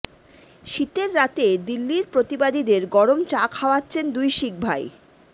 শীতের রাতে দিল্লির প্রতিবাদীদের গরম চা খাওয়াচ্ছেন দুই শিখ ভাই